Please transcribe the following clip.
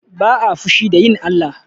Ba'a fushi da yin Allah.